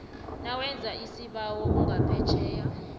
nawenza isibawo ungaphetjheya